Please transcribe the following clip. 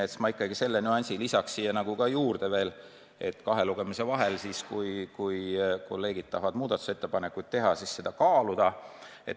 Lisan praegu ikkagi selle nüansi, et kahe lugemise vahel, kui kolleegid tahavad muudatusettepanekuid teha, võiks seda kaaluda.